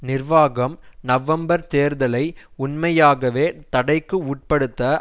நிர்வாகம் நவம்பர் தேர்தலை உண்மையாகவே தடைக்கு உட்படுத்த